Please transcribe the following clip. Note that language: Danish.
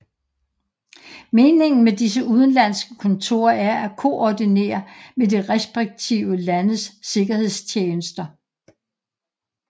Meningen med disse udenlandske kontorer er at koordinere med de respektive landes sikkerhedstjenester